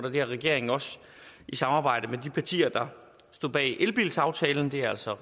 og det har regeringen også i samarbejde med de partier der stod bag elbilsaftalen det er altså